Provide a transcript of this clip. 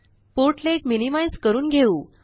port-led minimise करून घेऊ